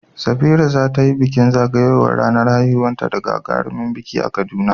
Safira za ta yi bikin zagayowar ranar haihuwarta da gagarumin biki a Kaduna.